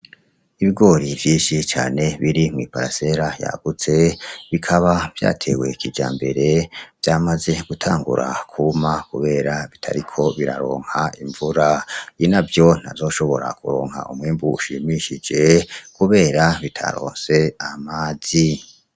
Ibigori vyinshi cane biri mw'iparasera yagutse, bikaba vyatewe kijambere, vyamaze gutangura kwuma kubera bitariko biraronka imvura, inavyo ntazoshora kuronka umwimbu ushimishije kubera bitaronse amazi.